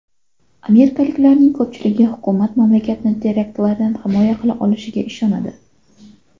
Amerikaliklarning ko‘pchiligi hukumat mamlakatni teraktlardan himoya qila olishiga ishonadi.